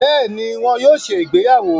Béèni, wón yóò ṣe ìgbéyàwó